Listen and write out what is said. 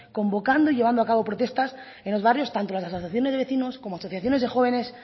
convocando y llevando a cabo protestas en los barrios tanto las asociaciones de vecinos como asociaciones de jóvenes